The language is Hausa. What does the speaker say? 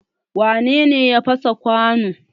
Wane ne ya fasa kwanon?